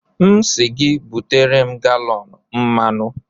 M sị gị butere m galọn mmanụ.